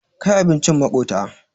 Kai abincin maƙota.